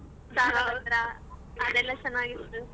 ಅದೆಲ್ಲ ಚನಾಗಿತ್ತು